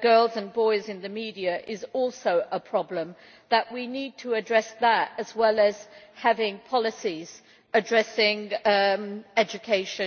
girls and boys in the media is also a problem, and that we need to address that at the same time as having policies addressing education?